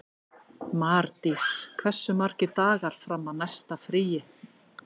Mardís, hversu margir dagar fram að næsta fríi?